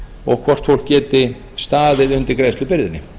og hvort fólk geti staðið undir greiðslubyrðinni